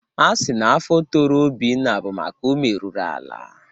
A sịrị na afọ toro Obinna bụ maka o meruru ala.